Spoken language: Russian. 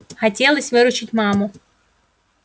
хотелось выручить маму